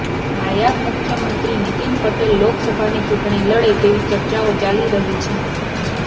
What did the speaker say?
નાયબ મુખ્યમંત્રી નીતિન પટેલ લોકસભાની ચૂંટણી લડે તેવી ચર્ચાઓ ચાલી રહી છે